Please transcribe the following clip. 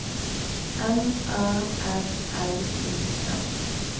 M A R L I N